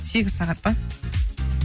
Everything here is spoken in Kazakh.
сегіз сағат па